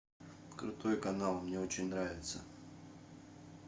крутой канал мне очень нравится